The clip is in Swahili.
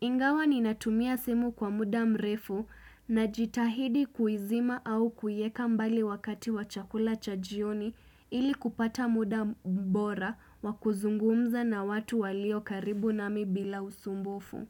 Ingawa ninatumia simu kwa muda mrefu najitahidi kuizima au kuieka mbali wakati wa chakula cha jioni ili kupata muda bora wa kuzungumza na watu walio karibu nami bila usumbufu.